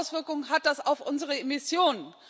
Welche Auswirkung hat das auf unsere Emissionen?